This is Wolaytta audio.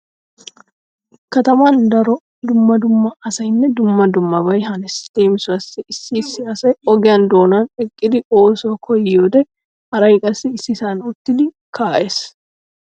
Kataman daro dumma dumma asaynne dumma dummabay hanees. Leemisuwawu issi issi asay ogiya doonan eqqidi oosuwa koyyiyoode haray qassi issisan uttidi kaa'ees.